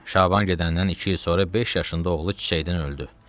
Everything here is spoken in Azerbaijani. Şaban gedəndən iki il sonra beş yaşında oğlu çiçəkdən öldü.